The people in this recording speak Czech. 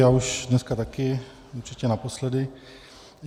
Já už dneska také určitě naposledy.